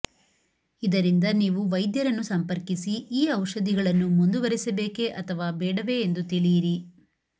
ಇದರಿಂದ ನೀವು ವೈದ್ಯರನ್ನು ಸಂಪರ್ಕಿಸಿ ಈ ಔಷಧಿಗಳನ್ನು ಮುಂದುವರಿಸಬೇಕೇ ಅಥವಾ ಬೇಡವೇ ಎಂದು ತಿಳಿಯಿರಿ